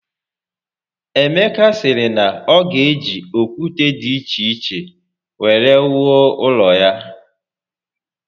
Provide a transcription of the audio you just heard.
Emeka siri na o ga eji okwute di iche iche were wuo ulo ya